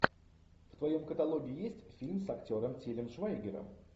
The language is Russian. в твоем каталоге есть фильм с актером тилем швайгером